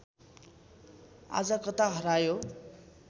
आज कता हरायो